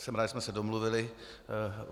Jsem rád, že jsme se domluvili.